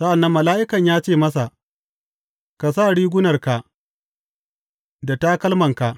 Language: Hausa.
Sa’an nan mala’ikan ya ce masa, Ka sa rigunarka da takalmanka.